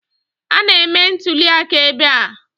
A na-eme ntụliaka ebe a